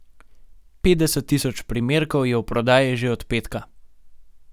Petdeset tisoč primerkov je v prodaji že od petka.